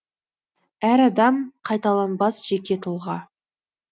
әр адам қайталанбас жеке тұлға